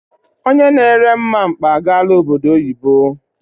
Onye na ere mmamkpa agaala obodo oyibo.